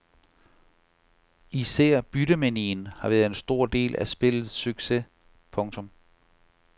Især byttemanien har været en stor del af spillets succes. punktum